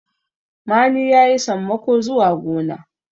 mani ya yi sammako zuwa gona